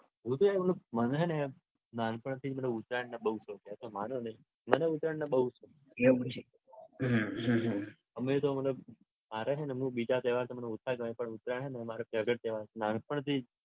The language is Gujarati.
મને હે ને નાનપણથી ઉત્તરાયણ ના બૌ શોખ છે. તમે માણો નઈ મને ઉત્તરાયણનો બૌ શોખ છે. કેમ વળી. અમે તો મતલબ મારે હે ને બીજા તહેવાર મને ઓછા ગમે પણ ઉત્તરાયણ હ ને મારો favourite તહેવાર છે નાનપણથી જ